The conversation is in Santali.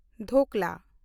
ᱰᱷᱳᱠᱞᱟ